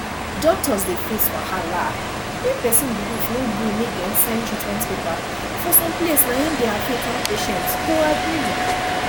doctors dey face wahala when person belief no gree make dem sign treatment paper for some place na im dey affect how patient go agree